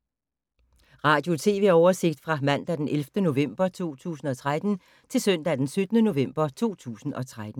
Radio/TV oversigt fra mandag d. 11. november 2013 til søndag d. 17. november 2013